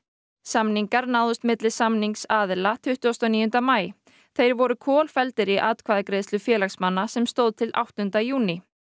samningar náðust milli samningsaðila tuttugasta og níunda maí þeir voru í atkvæðagreiðslu félagsmanna sem stóð til átta júní